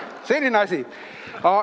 Selline asi.